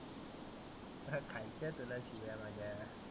खालच्या खाल शिव्या माझ्या